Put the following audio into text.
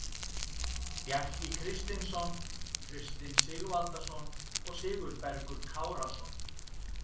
Bjarki Kristinsson, Kristinn Sigvaldason og Sigurbergur Kárason.